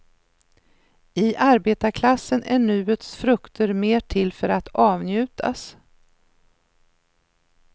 I arbetarklassen är nuets frukter mer till för att avnjutas.